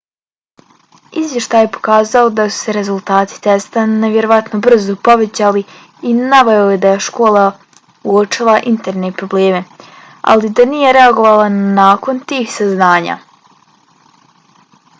izvještaj je pokazao da su se rezultati testa nevjerovatno brzo povećali i naveo da je škola uočila interne probleme ali da nije reagovala nakon tih saznanja